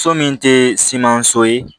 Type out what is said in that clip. So min tɛ siman so ye